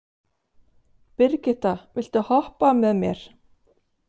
Brigitta, viltu hoppa með mér?